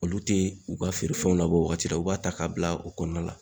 Olu te u ka feere fɛnw labɔ o wagati la u b'a ta ka bila u kɔnɔna la